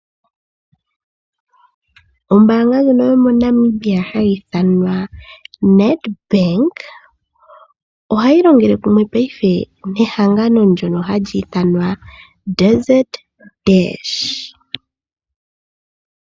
Ombanga ndjo yomo Namibia hayi thanwa Nedbank ohayi longele kumwe paife nehangano lyono hali thanwa Desert Dash.